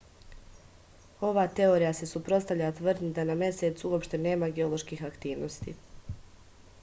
ova teorija se suprotstavlja tvrdnji da na mesecu uopšte nema geoloških aktivnosti